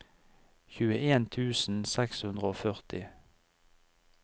tjueen tusen seks hundre og førti